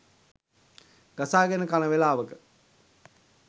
ගසාගෙන කන වෙලාවක